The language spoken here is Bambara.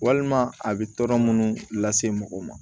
Walima a bɛ tɔɔrɔ munnu lase mɔgɔ ma